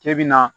K'e bɛ na